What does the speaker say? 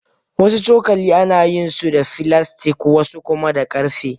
Wasu cokali ana yin su da filastik wasu kuma na karfe.